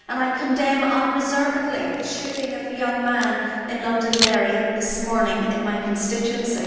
I condemn unreservedly the shooting of a young man in Londonderry this morning, in my constituency.